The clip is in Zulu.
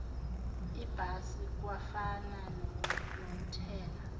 ibhasi kwafana nokuthela